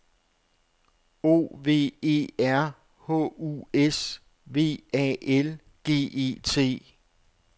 O V E R H U S V A L G E T